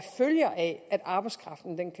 følger af at arbejdskraften kan